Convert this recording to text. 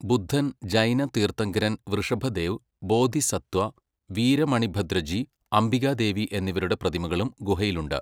ബുദ്ധൻ, ജൈന തീർത്ഥങ്കരൻ വൃഷഭദേവ്, ബോധിസത്വ, വീര മണിഭദ്രജി, അംബികാദേവി എന്നിവരുടെ പ്രതിമകളും ഗുഹയിലുണ്ട്.